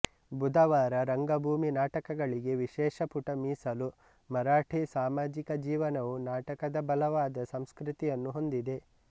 ಬುಧವಾರ ರಂಗಭೂಮಿ ನಾಟಕಗಳಿಗೆ ವಿಶೇಷ ಪುಟ ಮೀಸಲು ಮರಾಠಿ ಸಾಮಾಜಿಕ ಜೀವನವು ನಾಟಕದ ಬಲವಾದ ಸಂಸ್ಕೃತಿಯನ್ನು ಹೊಂದಿದೆ